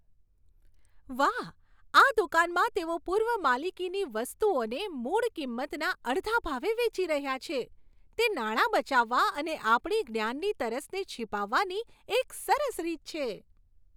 વાહ! આ દુકાનમાં તેઓ પૂર્વ માલિકીની વસ્તુઓને મૂળ કિંમતના અડધા ભાવે વેચી રહ્યા છે. તે નાણાં બચાવવા અને આપણી જ્ઞાનની તરસને છીપાવવાની એક સરસ રીત છે.